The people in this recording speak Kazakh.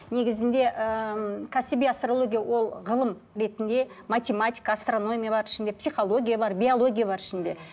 негізінде ыыы кәсіби астрология ол ғылым ретінде математика асторонмия бар ішінде психология бар биология бар ішінде